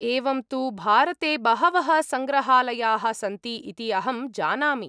एवं तु, भारते बहवः सङ्ग्रहालयाः सन्ति इति अहं जानामि।